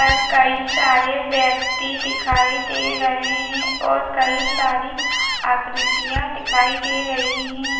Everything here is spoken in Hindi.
पर कई सारे व्यक्ति दिखाई दे रहे हैं और कई सारी आकृतियां दिखाई दे रही हैं।